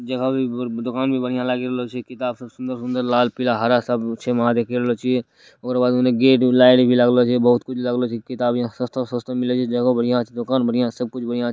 यहाँ भी दुकान भी बहुत बिया लागल लोछि किताब सब सुन्दर सुन्दर लाल पीला हरा सब छे वहां देख लोछि और बाजु में गेट भी लाइट भी लागलो छे बहुत कुछ लागलो छे किताब यहाँ सस्ता सस्ता मिलेगी जगह बढ़िया दुकान बढ़िया सब कुछ बढ़िया--